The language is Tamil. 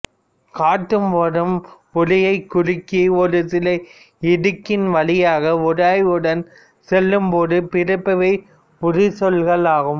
காற்று வரும் ஒலியை குறுக்கி ஒரு சிறு இடுக்கின் வழியாக உராய்வுடன் செல்லும்போது பிறப்பவை உரசொலிகள் ஆகும்